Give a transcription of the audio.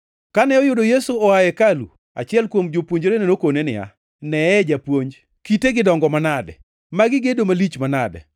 Kane oyudo Yesu oa e hekalu, achiel kuom jopuonjrene nokone niya, “Neye, Japuonj! Kitegi dongo manade! Magi gedo malich manade!”